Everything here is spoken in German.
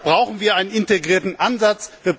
Deshalb brauchen wir einen integrierten Ansatz.